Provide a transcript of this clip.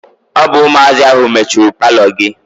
Ọ bụ ụmụazị ahụ mechuru paalọ gị.